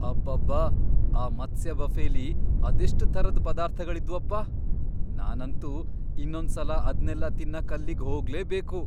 ಅಬ್ಬಬ್ಬಾ! ಆ ಮತ್ಸ್ಯ ಬಫೆಲಿ ಅದೆಷ್ಟ್ ಥರದ್ ಪದಾರ್ಥಗಳಿದ್ವಪ್ಪ! ನಾನಂತೂ ಇನ್ನೊಂದ್ಸಲ ಅದ್ನೆಲ್ಲ ತಿನ್ನಕ್ ಅಲ್ಲಿಗ್ ಹೋಗ್ಲೇಬೇಕು.